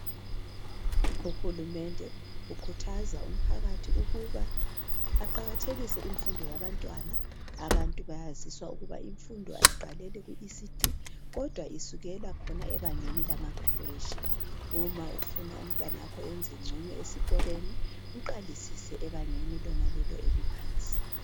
UHulumende ukhuthaza umphakathi ukuba aqakathekise imfundo yabantwana. Abantu bayaziswa ukuba imfundo ayiqaleli ku ECD kodwa isukela khona ebangeni lama creche. Uma ufuna umntanakho enze ngcono esikolweni ,mqalisise ebangeni lona lelo eliphansi.